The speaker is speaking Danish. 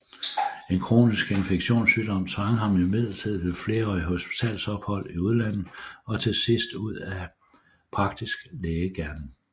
En kronisk infektionssygdom tvang ham imidlertid til flerårigt hospitalsophold i udlandet og til sidst ud af praktisk lægegerning